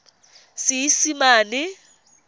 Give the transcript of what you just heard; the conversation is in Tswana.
seesimane